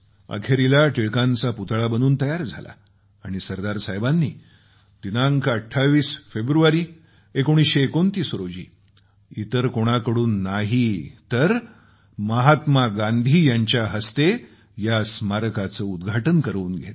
अखेरीस टिळकांचा पुतळा बनून तयार झाला आणि सरदार साहेबांनी दिनांक 28 फेब्रुवारी 1929 रोजी इतर कोणाकडून नाही तर महात्मा गांधी यांच्या हस्ते या स्मारकाचं उद्घाटन करवून घेतलं